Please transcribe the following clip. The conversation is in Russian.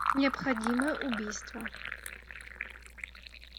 необходимое убийство